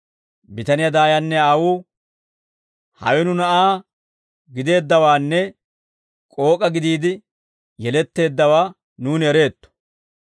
Bitaniyaa daayanne aawuu, «Hawe nu na'aa gideeddawaanne k'ook'a gidiide yeletteeddawaa nuuni ereetto.